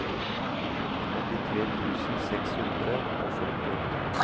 åttitre tusen seks hundre og førtiåtte